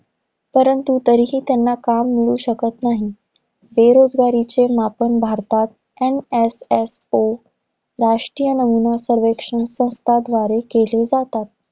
परंतु तरीही त्यांना काम मिळू शकत नाही. बेरोजगारीचे मापन भारतात NSSO राष्ट्रीय नमुना सर्वेक्षण संस्थाद्वारे केले जातात.